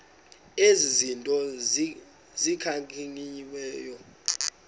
ezi zinto zikhankanyiweyo